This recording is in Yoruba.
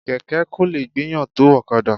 Kẹ̀kẹ́ kò lè gbéyàn tó ọ̀kadà.